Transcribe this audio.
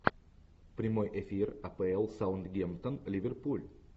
прямой эфир апл саутгемптон ливерпуль